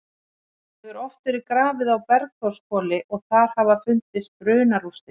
Það hefur oft verið grafið á Bergþórshvoli og þar hafa fundist brunarústir.